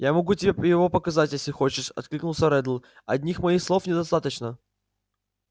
я могу тебе его показать если хочешь откликнулся реддл одних моих слов недостаточно